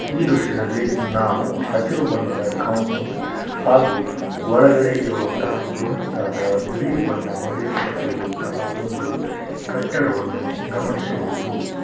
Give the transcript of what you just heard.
ಈ ದೃಶ್ಯದಲ್ಲಿ ನಾವು ಹಸಿರು ಬಣ್ಣದ ಕಾಪೌಂಡ್‌ ಹಾಗೂ ಒಳಗಡೆ ಇರುವಂತಹ ಬೃಹತ್‌ ಆದ ಬಿಳಿ ಬಣ್ಣ ಹೊಡೆಯಲ್ಪಟ್ಟ ಒಂದು ಕಟ್ಟಡವನ್ನು ಗಮನಿಸಬಹುದು.